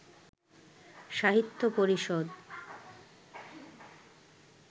সাহিত্য পরিষদ